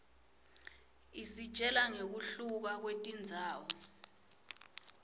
isitjela ngekuhluka kwetindzawo